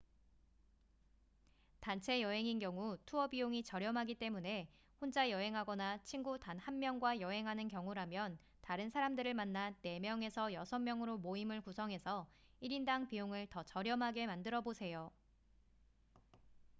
단체 여행인 경우 투어 비용이 저렴하기 때문에 혼자 여행하거나 친구 단 한 명과 여행하는 경우라면 다른 사람들을 만나 4명에서 6명으로 모임을 구성해서 1인당 비용을 더 저렴하게 만들어 보세요